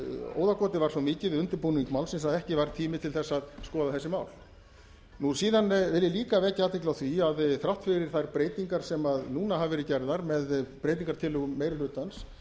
óðagotið var svo mikið við undirbúning málsins að ekki var tími til þess að skoða þessi mál síðan vil ég líka vekja athygli á því að þrátt fyrir þær breytingar sem núna hafa verið gerðar með breytingartillögum meiri hlutans